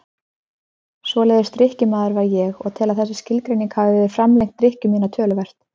Svoleiðis drykkjumaður var ég og tel að þessi skilgreining hafi framlengt drykkju mína töluvert.